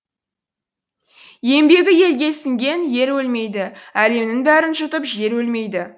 еңбегі елге сіңген ер өлмейді әлемнің бәрін жұтып жер өлмейді